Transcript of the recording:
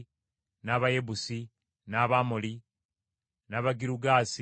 n’Abayebusi, n’Abamoli, n’Abagirugaasi,